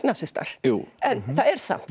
ungnasistar en það er samt